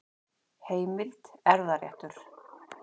Heimild: Erfðaréttur.